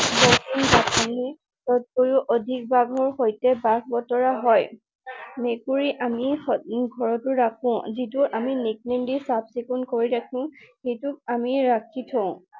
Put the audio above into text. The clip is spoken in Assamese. তকৈও অধিক ভাগৰ সৈতে ভাগ বতৰা হয়। মেকুৰী আমি ঘৰতো ৰাখো। যিটো আমি nickname দি চাফ চিকুণ কৰি ৰাখো। সেইটোক আমি ৰাখি থওঁ।